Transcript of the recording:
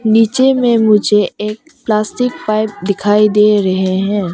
नीचे मे मुझे एक प्लास्टिक पाइप दिखाई दे रहे है।